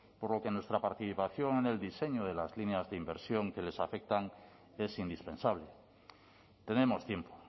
por lo que nuestra participación en el diseño de las líneas de inversión que les afectan es indispensable tenemos tiempo